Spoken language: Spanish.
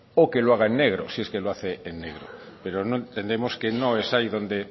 o que lo haga en negro si es que lo hace en negro pero entendemos que no es ahí donde